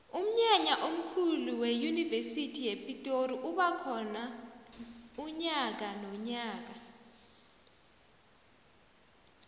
umnyanya omkhulu weyunivesi yepitori uba khona nyakanonyaka